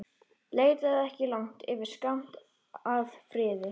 Leitaðu ekki langt yfir skammt að friði.